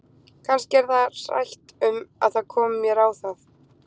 Kannski er það hrætt um að það komi mér á það!